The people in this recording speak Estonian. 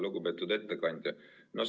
Lugupeetud ettekandja!